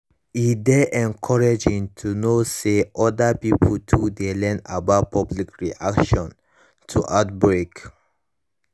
e dey encouraging to know to know say other pipo too dey learn about public reaction to outbreak